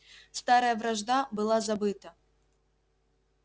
старая вражда была забыта